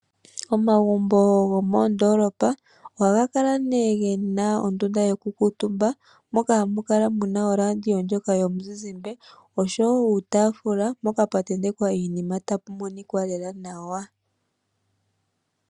Omagumbo gomoondolopa ohaga kala nee gena ondunda yoku kuutumba, moka ha mu kala muna oradio ndyoka yomuzizimbe. Osho woo uutaafula mpoka pwa tentekwa iinima tapu monikwa lela nawa.